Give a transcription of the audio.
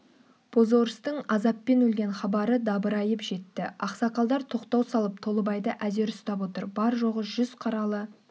бозорыстың азаппен өлген хабары дабырайып жетті ақсақалдар тоқтау салып толыбайды әзер ұстап отыр бар-жоғы жүз қаралы